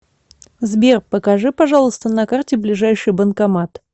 сбер покажи пожалуйста на карте ближайший банкомат